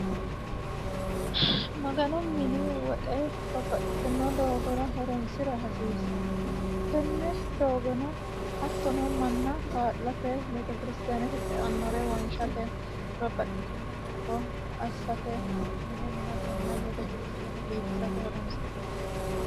maganu mini woxe babbaxiti doogora horonsira hasiissanno tenne doogono hattono manna kaa'late beetikirstaanete xeannorewonshshate babbaxitino doogo assatenna mine minatenna beekirstaane biifisate horonsi'nanni